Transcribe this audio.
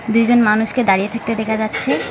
দুইজন মানুষকে দাঁড়িয়ে থাকতে দেখা যাচ্ছে।